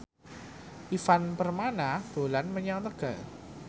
Ivan Permana dolan menyang Tegal